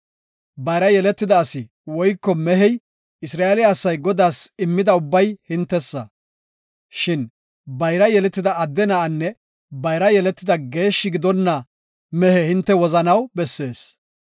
Bayra yeletida asi woyko mehey Isra7eele asay Godaas immida ubbay hintesa. Shin bayra yeletida adde na7anne bayra yeletida geeshshi gidonna mehe hinte wozanaw bessees.